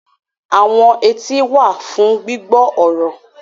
Awọn eti wa fun gbigbọ ọrọ